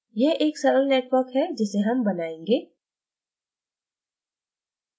यह एक सरल network है जिसे हम बनायेंगे